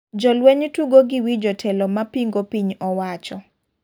Jolweny tugo gi wi jotelo mapingo piny owacho.